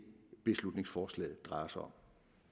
beslutningsforslaget drejer sig om